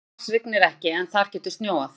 Á Mars rignir ekki en þar getur snjóað.